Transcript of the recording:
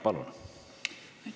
Palun!